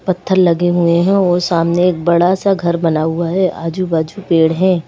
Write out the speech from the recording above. पत्थर लगे हुए हैं और सामने एक बड़ा सा घर बना हुआ है आजू-बाजू पेड़ हैं।